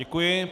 Děkuji.